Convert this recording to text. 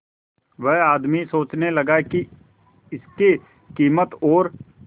वह आदमी सोचने लगा की इसके कीमत और